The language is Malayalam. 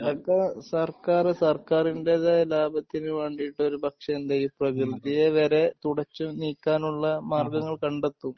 അതൊക്കെ സർക്കാർ സർക്കാരിൻ്റെതായ ലാഭത്തിനു വേണ്ടിയിട്ട് ഒരുപക്ഷേ എന്തു ചെയ്യും ഈ പ്രകൃതിയെ വരെ തുടച്ചു നീക്കാനുള്ള മാർഗങ്ങൾ കണ്ടെത്തും